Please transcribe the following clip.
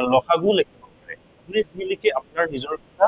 আৰু ল সা গুও লিখিব পাৰে। কি লিখে সেইটো আপোনাৰ নিজৰ কথা